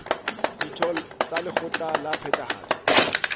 ditho tsa lekgotla la phethahatso